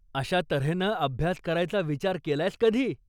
अशा तऱ्हेनं अभ्यास करायचा विचार केलायस कधी?